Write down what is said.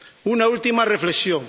Una última reflexión.